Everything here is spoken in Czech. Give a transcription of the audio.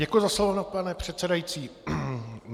Děkuji za slovo, pane předsedající.